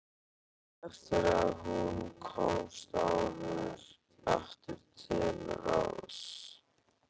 Eftir að hún komst aftur til ráðs.